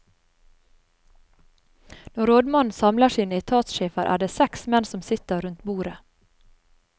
Når rådmannen samler sine etatssjefer, er det seks menn som sitter rundt bordet.